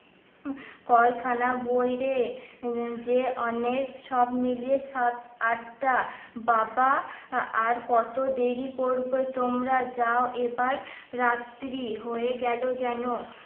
কয় খানা বইরে যে অনেক সব মিলিয়ে সাত আটটা বাবা আর কত দেরি করবে তোমরা যাও এবার রাত্রি হয়ে গেলো যেন